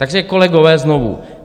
Takže kolegové, znovu.